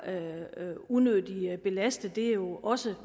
unødigt belastet det er jo også